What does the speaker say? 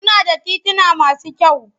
Kuna da tituna masu kyau?